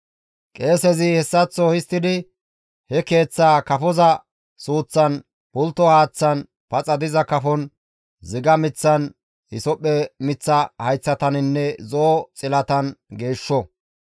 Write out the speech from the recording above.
Qeesezi hessaththo histtidi he keeththaa kafoza suuththan, pultto haaththan, paxa diza kafon, ziga miththan, hisophphe miththa hayththaninne zo7o xilatan geeshsho.